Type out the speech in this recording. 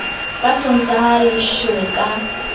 ka sontaha a leshwe ka